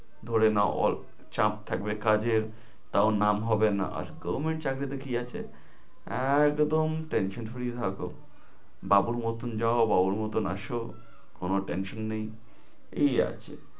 ধরে নাও all~ চাপ থাকবে কাজের তাও নাম হবে না। আজকেও main চাকরিতে কি আছে একদম tension free থাকো, বাবুর মতন যাও বাবুর মতন আসো, কোনো tension টেনশন নেই, এই আছে।